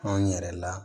Anw yɛrɛ la